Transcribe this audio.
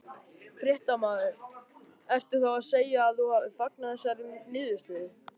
Fréttamaður: Ertu þá að segja að þú fagnir þessari niðurstöðu?